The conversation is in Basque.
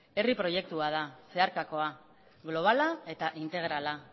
herri proiektua da zeharkakoa globala eta integrala